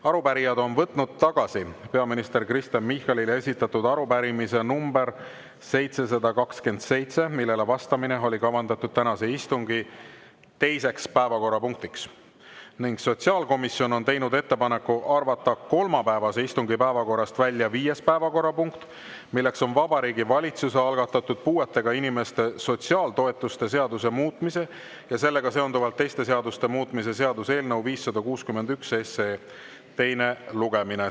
Arupärijad on võtnud tagasi peaminister Kristen Michalile esitatud arupärimise nr 727, millele vastamine oli kavandatud tänase istungi teiseks päevakorrapunktiks, ning sotsiaalkomisjon on teinud ettepaneku arvata kolmapäevase istungi päevakorrast välja viies päevakorrapunkt, milleks on Vabariigi Valitsuse algatatud puuetega inimeste sotsiaaltoetuste seaduse muutmise ja sellega seonduvalt teiste seaduste muutmise seaduse eelnõu 561 teine lugemine.